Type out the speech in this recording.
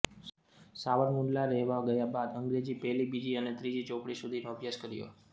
સાવરકુંડલા રહેવા ગયા બાદ અંગ્રેજી પહેલી બીજી અને ત્રીજી ચોપડી સુધીનો અભ્યાસ કર્યો